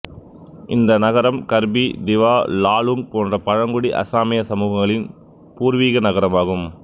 இந்த நகரம் கர்பி திவா லாலுங் போன்ற பழங்குடி அசாமிய சமூகங்களின் பூர்வீக நகரமாகும்